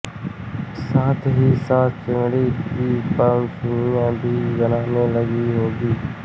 साथ ही साथ चमड़े की पनसुइया भी बनने लगी होंगी